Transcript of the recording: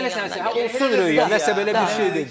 Olsun Röya, nəsə belə bir şey dedi.